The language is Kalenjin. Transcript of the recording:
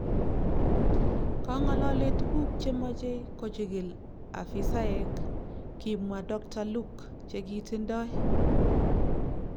Kong'ololee tuguk che machei kojigil afisaek, kimwa dokta Luque chekitindoi